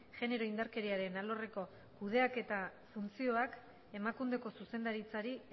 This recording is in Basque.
genero indarkeriaren alorreko kudeaketa funtzioak emakundeko zuzendaritzari